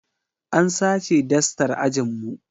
An sace dastar ajin mu